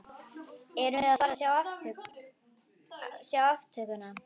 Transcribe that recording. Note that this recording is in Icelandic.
Erum við að fara að sjá aftökuna?